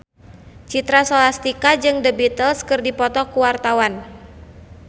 Citra Scholastika jeung The Beatles keur dipoto ku wartawan